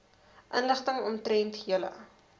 inligting omtrent julle